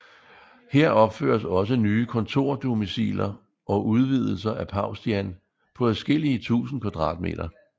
Her opføres også nye kontordomiciler og udvidelser af Paustian på adskillige tusind kvadratmeter